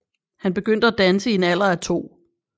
Han begyndte at danse i en alder af to